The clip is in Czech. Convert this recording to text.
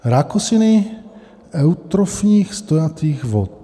Rákosiny eutrofních stojatých vod.